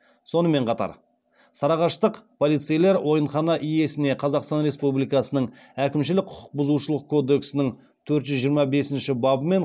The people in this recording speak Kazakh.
сонымен қатар сарыағаштық полицейлер ойынхана иесіне қазақстан республикасының әкімшілік құқық бұзушылық кодексінің төрт жүз жиырма бесінші бабымен